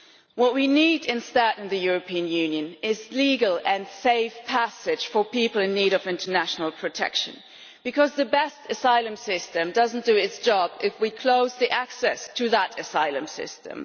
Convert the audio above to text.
What we need instead in the European Union is legal and safe passage for people in need of international protection, because even the best asylum system does not do its job if we close access to that asylum system.